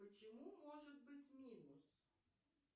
почему может быть минус